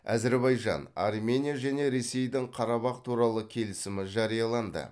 әзербайжан армения және ресейдің қарабах туралы келісімі жарияланды